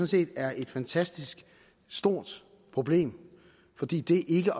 set er et fantastisk stort problem fordi det ikke